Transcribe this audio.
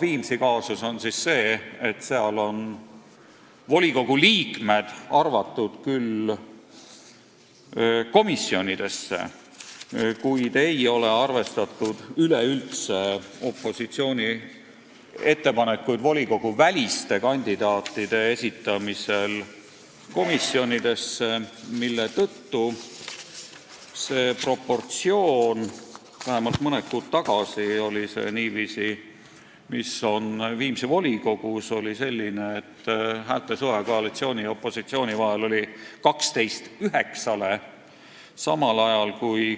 Viimsi kaasus on selline, et seal on volikogu liikmed arvatud küll komisjonidesse, kuid üleüldse ei ole arvestatud opositsiooni ettepanekuid komisjonide volikoguväliste kandidaatide kohta, mille tõttu see proportsioon Viimsi volikogus vähemalt mõni kuu tagasi oli selline, et koalitsiooni ja opositsiooni häälte suhe oli 12 : 9,